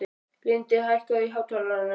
Lindi, hækkaðu í hátalaranum.